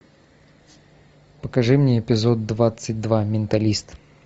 покажи мне эпизод двадцать два менталист